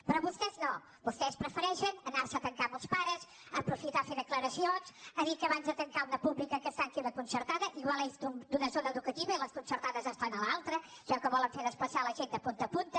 però vostès no vostès prefereixen anar se a tancar amb els pares aprofitar per fer declaracions dir que abans de tancar una pública que es tanqui una concertada potser és d’una zona educativa i les concertades estan a l’altra es veu que volen fer desplaçar la gent de punta a punta